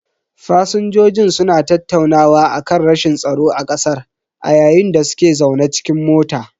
Fasinjojin suna tattaunawa akan rashin tsaro a kasar a yayin da suke zaune cikin mota.